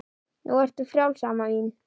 Nú ertu frjáls amma mín.